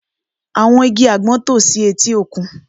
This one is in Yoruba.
Àwọn igi àgbọn tò si etí òkun